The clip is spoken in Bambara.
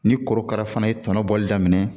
Ni korokara fana ye tɔnɔ bɔli daminɛ